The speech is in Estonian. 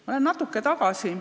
Ma lähen ajas natuke tagasi.